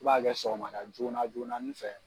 I b'a kɛ sɔgɔmada joona joonanin fɛ.